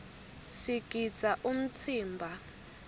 sigidza umtsimba